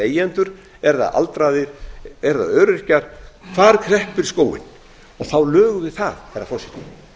leigjendur eru það aldraðir eru það öryrkjar hvar kreppir skórinn og þá lögum við það herra forseti